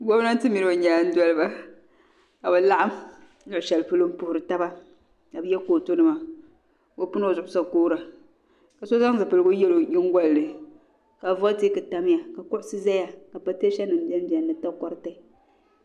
Gomnanti mini ɔ nyaaŋ dɔliba, kabi laɣim luɣi shɛli polɔ. n puhiri taba, ka bi ye kootu nima, ka ɔ pini. ozuɣu sakoora. ka so zaŋ zipiligu. n yeli onyiŋgolini, ka volitic tam ya ka kuɣisi ʒɛya ka patee sanim. benbeni ni takoriti.